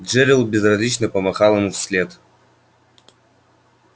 джерилл безразлично помахал ему вслед